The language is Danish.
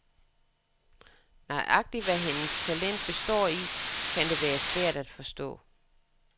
Nøjagtig hvad hendes talent består i, kan det være svært at forstå.